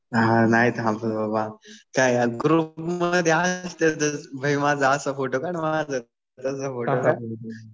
हा नाही थांबत बाबा. काय आणि ग्रुपमध्ये असलं का बाई माझा असा फोटो कधी तसा फोटो काढ.